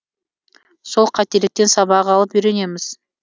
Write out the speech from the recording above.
сол қателіктен сабақ алып үйренеміз